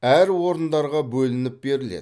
әр орындарға бөлініп беріледі